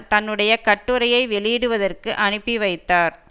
தன்னுடைய கட்டுரையை வெளியிடுவதற்கு அனுப்பி வைத்தார்